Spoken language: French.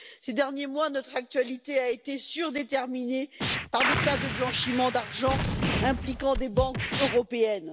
Ces derniers mois, notre actualité a été surdéterminée par des cas de blanchiment d'argent impliquant des banques européennes.